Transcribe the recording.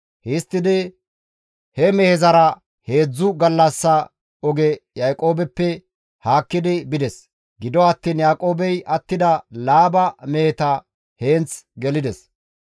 Histtidi he mehezara heedzdzu gallassa oge Yaaqoobeppe haakki bides; gido attiin Yaaqoobey attida Laaba meheta heenth gelides.